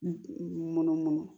Munu munu